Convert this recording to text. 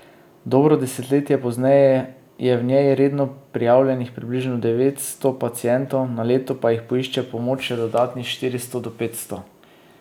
Dobro desetletje pozneje je v njej redno prijavljenih približno devetsto pacientov, na leto pa jih poišče pomoč še dodatnih štiristo do petsto.